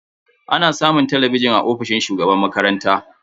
Ana samun talabijin a ofishin shugaban makaranta.